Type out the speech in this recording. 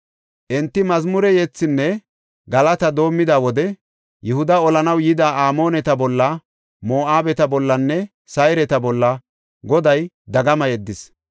Enti mazmure yethinne galata doomida wode Yihuda olanaw yida Amooneta bolla, Moo7abeta bollanne Sayreta bolla Goday dagama yeddis.